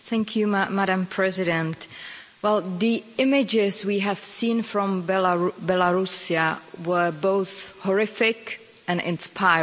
Madam President, the images we have seen from Belarus were both horrific and inspiring.